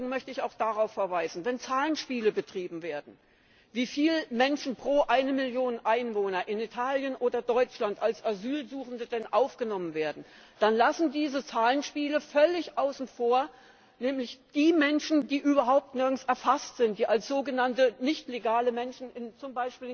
Und im Übrigen möchte ich auch darauf verweisen Wenn Zahlenspiele betrieben werden, wie viele Menschen pro Million Einwohner in Italien oder Deutschland denn als Asylsuchende aufgenommen werden, dann lassen diese Zahlenspiele die Menschen völlig außen vor, die überhaupt nirgends erfasst sind, die als sogenannte nichtlegale Menschen z.